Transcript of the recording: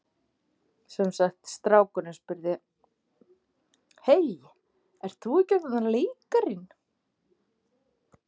Sem sagt strákurinn spurði: Hey, ert þú ekki þarna leikarinn?